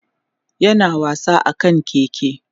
yana wasa akan keke